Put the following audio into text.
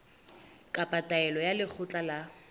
kapa taelo ya lekgotla la